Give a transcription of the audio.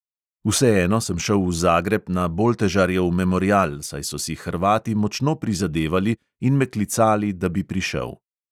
Vseeno sem šel v zagreb na boltežarjev memorial, saj so si hrvati močno prizadevali in me klicali, da bi prišel.